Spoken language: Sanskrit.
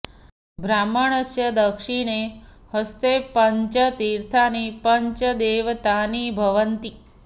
ब्राह्मणस्य दक्षिणे हस्ते पञ्च तीर्थानि पञ्च दैवतानि भवन्ति